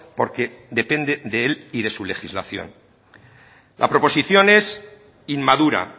porque depende de él y de su legislación la proposición es inmadura